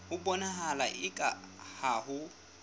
ho bonahala eka ha ho